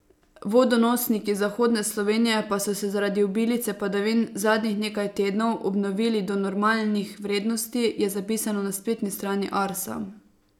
Vodonosniki zahodne Slovenije pa so se zaradi obilice padavin zadnjih nekaj tednov obnovili do normalnih vrednosti, je zapisano na spletni strani Arsa.